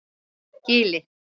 Gili